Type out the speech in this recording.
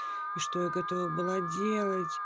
и что я готова была делать